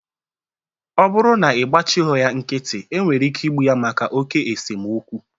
Ọ bụrụ na-ịgbachighọ ya nkịtị, I nwere ike igbu ya maka oké esemokwu